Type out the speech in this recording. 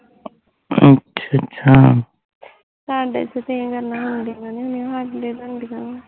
ਤੁਹਾਡੇ ਚ ਤੇ ਇਹ ਗੱਲਾਂ ਤਾਂ ਹੁੰਦੀਆ ਨੀ ਹੁੰਦੀਆ ਸਾਡੇ ਚ ਬਣਦੀਆ ਵਾਂ